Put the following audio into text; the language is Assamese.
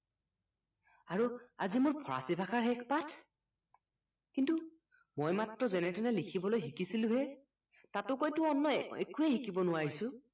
আৰু আজি মোৰ ফৰাচী ভাষাৰ শেষ পাঠ কিন্তু মই মাত্ৰ যেনেতেনে লিখিবলৈ শিকিছিলোঁহে তাতোকৈতো অন্য় শিকিব নোৱাৰিছোঁ